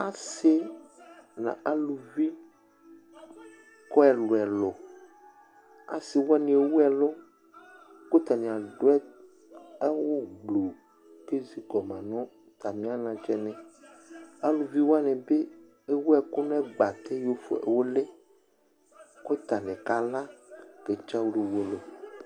Asɩ nʋ aluvi kɔ ɛlʋ-ɛlʋ Asɩ wanɩ ewu ɛlʋ kʋ atanɩ adʋ awʋgblu kʋ ezi kɔ ma nʋ atamɩ anatsɛnɩ Aluvi wanɩ bɩ ewu ɛkʋ nʋ agbatɛ yɔfue ʋlɩ kʋ atanɩ kala ketsǝɣlǝ uwolowu